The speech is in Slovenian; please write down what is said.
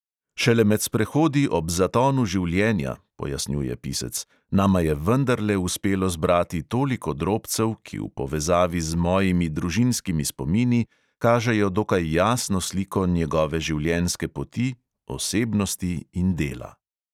"Šele med sprehodi ob zatonu življenja," pojasnjuje pisec, "nama je vendarle uspelo zbrati toliko drobcev, ki v povezavi z mojimi in družinskimi spomini kažejo dokaj jasno sliko njegove življenjske poti, osebnosti in dela".